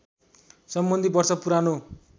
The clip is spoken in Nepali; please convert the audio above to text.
सम्बन्धी वर्ष पुरानो